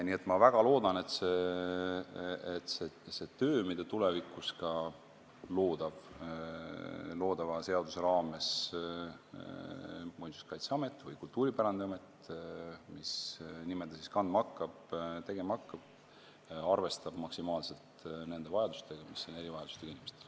Nii et ma väga loodan, et see töö, mida tulevikus ka loodava seaduse raames Muinsuskaitseamet või Kultuuripärandiamet – mis nime ta siis kandma hakkab – tegema hakkab, arvestab maksimaalselt nende vajadustega, mis on erivajadustega inimestel.